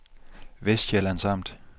Vestsjællands Amt